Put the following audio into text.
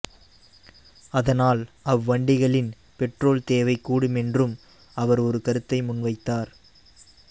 அதனால் அவ்வண்டிகளின் பெட்ரோல் தேவை கூடுமென்றும் அவர் ஒரு கருத்தை முன்வைத்தார்